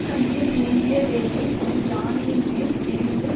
கையில் ஏந்திய வேலை ஒரு யானையின் மேல் எறிந்து